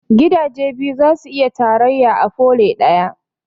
Gidaje biyu zasu iya tarayya a pole ɗaya